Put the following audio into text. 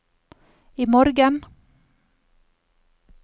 imorgen